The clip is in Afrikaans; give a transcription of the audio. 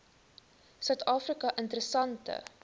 suid afrika interessante